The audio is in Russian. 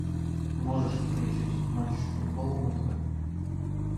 можешь включить матч футбол на тв